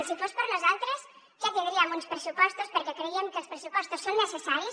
si fos per nosaltres ja tindríem uns pressupostos perquè creiem que els pressupostos són necessaris